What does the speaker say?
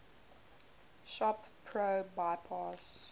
shop pro bypass